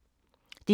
DR K